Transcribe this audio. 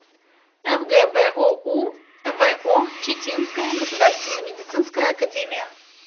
фгбоу во читинская государственная медицинская академия